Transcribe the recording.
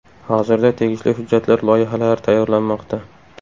Hozirda tegishli hujjatlar loyihalari tayyorlanmoqda.